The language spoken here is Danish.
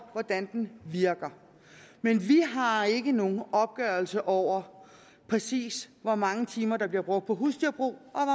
hvordan den virker men vi har ikke nogen opgørelse over præcis hvor mange timer der bliver brugt på husdyrbrug